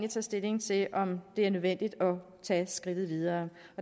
stilling til om det er nødvendigt at tage skridtet videre